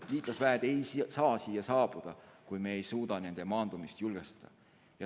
Liitlasväed ei saa siia saabuda, kui me ei suuda nende maandumist julgestada.